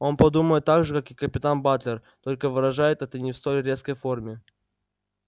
он думает так же как и капитан батлер только выражает это не в столь резкой форме